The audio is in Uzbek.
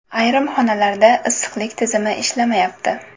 Ayrim xonalarda issiqlik tizimi ishlamayapti.